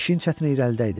İşin çətini irəlidə idi.